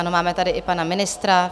Ano, máme tady i pana ministra.